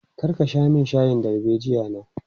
Kar ka sha min shayin darbejiya na!